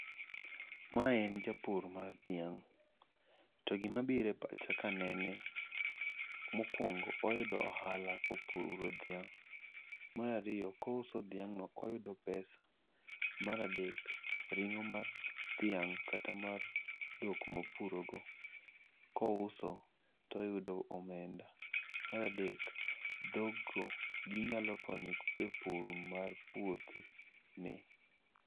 Mae en japur mar thiang', to gimabiro e pacha an kanene, mokuongo oyudo ohala kowuok kuom dhiang', marariyo kouso thiang'no oyudo pesa, maradek ringo' mar thiang' kata mar thok mopurogo kouso to oyudo omenda, maradek thokgo ginyalo konye e pur mar puothene.